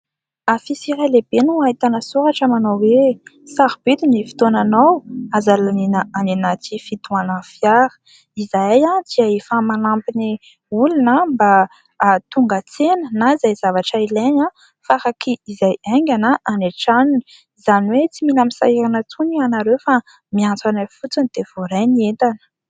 Afisy iray lehibe no ahitana soratra manao hoe :" Sarobidy ny fotoananao, aza laniana any anaty fitohanan'ny fiara." Izahay dia efa manampy ny olona mba hahatonga tsena na izay zavatra ilaina faraky izay aingana any an-tranony. Izany hoe tsy mila misahirana intsony ianareo fa miantso anay fotsiny dia voaray ny entana.